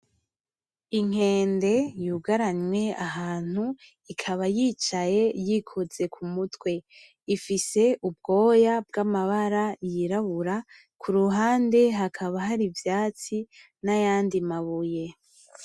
Inkende yugaranwe ahantu ikaba yicaye yikoze kumutwe, ifise ubwoya bw'amabara y'irabura , kuruhande hakaba hari ivyatsi n'ayandi mabuye.